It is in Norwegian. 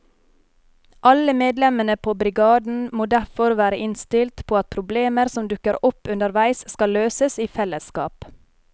Alle medlemmene på brigaden må derfor være innstilt på at problemer som dukker opp underveis skal løses i fellesskap.